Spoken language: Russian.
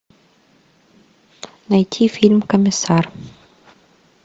найти фильм комиссар